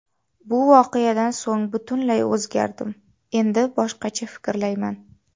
Bu voqeadan so‘ng butunlay o‘zgardim, endi boshqacha fikrlayman”.